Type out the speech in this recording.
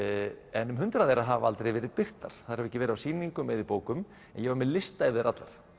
en um hundrað þeirra hafa aldrei verið birtar þær hafa ekki verið á sýningum eða í bókum en ég var með lista yfir þær allar